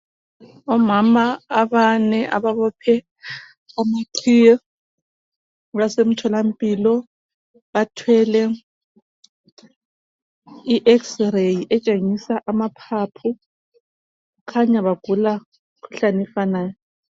Omama abane ababophe amaqhiye basemtholampilo. Bathwele i x-ray etshengisa amaphaphu kukhanya bagula umkhuhlane ofanayo.